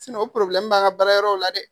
o b'an ka baarayɔrɔw la dɛ